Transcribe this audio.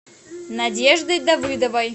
надеждой давыдовой